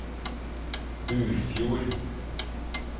Burfjord